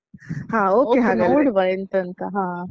okay ನೋಡುವ ಎಂತ ಅಂತ ಹಾ.